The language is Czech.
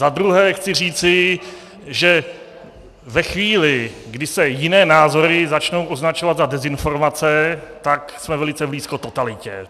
Za druhé chci říci, že ve chvíli, kdy se jiné názory začnou označovat za dezinformace, tak jsme velice blízko totalitě.